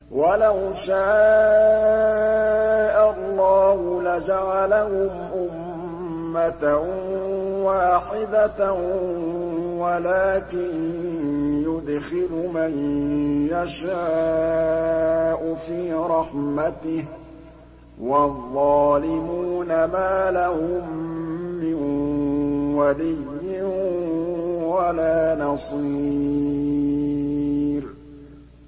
وَلَوْ شَاءَ اللَّهُ لَجَعَلَهُمْ أُمَّةً وَاحِدَةً وَلَٰكِن يُدْخِلُ مَن يَشَاءُ فِي رَحْمَتِهِ ۚ وَالظَّالِمُونَ مَا لَهُم مِّن وَلِيٍّ وَلَا نَصِيرٍ